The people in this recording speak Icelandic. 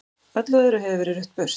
Öllu öðru hefur verið rutt burt.